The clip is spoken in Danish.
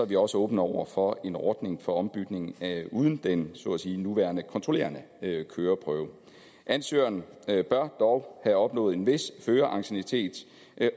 vi også åbne over for en ordning for ombytning uden den så at sige nuværende kontrollerende køreprøve ansøgeren bør dog have opnået en vis føreranciennitet